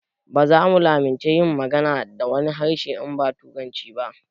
Baza mu lamunci yin magana da wani harshe in ba turanci ba